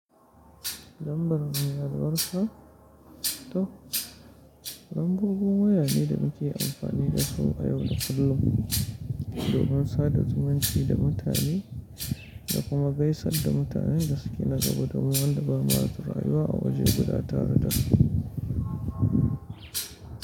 Lambar mayarwarka? To lambobi waya ne da muke amfani da su a yau da kullum do min sa da zumunci da mutane da kuma gaisar da mutanen da suke na gaba da mu wanda ba mu haɗu da rayuwa a waje guda tare da su.